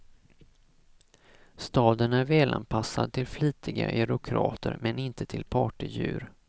Staden är välanpassad till flitiga eurokrater men inte till partydjur.